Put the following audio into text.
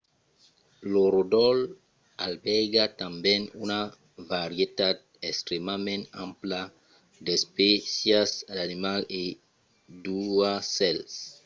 lo ròdol albèrga tanben una varietat extrèmament ampla d'espècias d'animals e d'aucèls